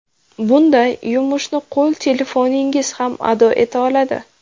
Bunday yumushni qo‘l telefoningiz ham ado eta oladi.